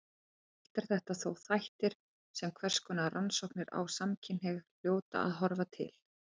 Allt eru þetta þó þættir sem hverskonar rannsóknir á samkynhneigð hljóta að horfa til.